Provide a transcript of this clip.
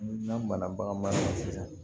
N'an banana bagan ma sisan